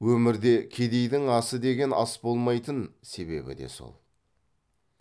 өмірде кедейдің асы деген ас болмайтын себебі де сол